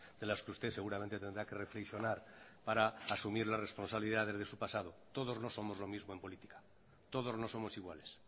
de las que usted seguramente tendrá que reflexionar para asumir las responsabilidades de su pasado todos no somos lo mismo en política todos no somos iguales